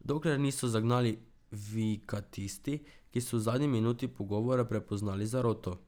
Dokler niso zagnali vika tisti, ki so v zadnji minuti pogovora prepoznali zaroto.